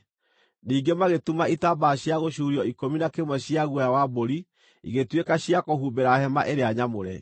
Ningĩ magĩtuma itambaya cia gũcuurio ikũmi na kĩmwe cia guoya wa mbũri igĩtuĩka cia kũhumbĩra hema ĩrĩa nyamũre.